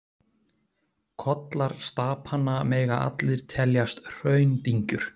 Kollar stapanna mega allir teljast hraundyngjur.